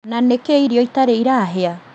Na nĩkĩ irio itarĩ irahĩa